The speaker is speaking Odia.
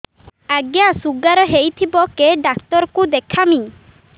ଆଜ୍ଞା ଶୁଗାର ହେଇଥିବ କେ ଡାକ୍ତର କୁ ଦେଖାମି